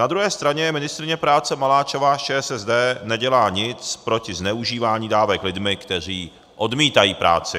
Na druhé straně ministryně práce Maláčová z ČSSD nedělá nic proti zneužívání dávek lidmi, kteří odmítají práci.